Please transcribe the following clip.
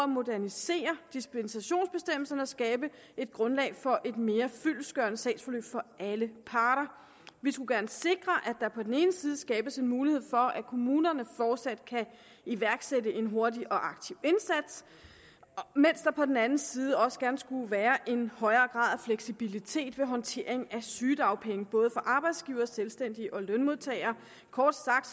modernisere dispensationsbestemmelserne og skabe et grundlag for et mere fyldestgørende sagsforløb for alle parter vi skulle gerne sikre at der på den ene side skabes en mulighed for at kommunerne fortsat kan iværksætte en hurtig og aktiv indsats mens der på den anden side også gerne skulle være en højere grad af fleksibilitet ved håndteringen af sygedagpenge for både arbejdsgivere selvstændige og lønmodtagere kort sagt